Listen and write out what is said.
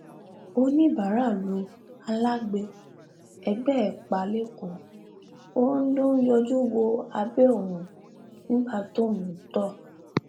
ọníbàárà lu alágbe ẹgbẹ ẹ pa lẹkọọ ó lọ ń yọjú wo abẹ òun nígbà tóun ń tọ